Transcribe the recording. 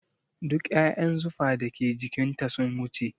Duk ƴaƴan zufa da ke jikin ta sun wuce